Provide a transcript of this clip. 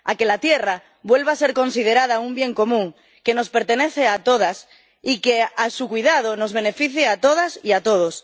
a que la tierra vuelva a ser considerada un bien común que nos pertenece a todas y a que su cuidado nos beneficie a todas y a todos.